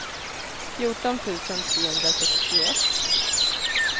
fjorton tusen trehundrasextioett